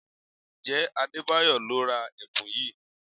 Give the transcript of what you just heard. Ǹjẹ́ Adebayo lo ra ẹ̀bùn yìí?